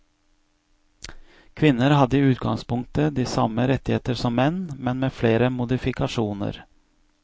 Kvinner hadde i utgangspunktet de samme rettigheter som menn, men med flere modifikasjoner.